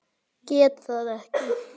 Geta það ekki.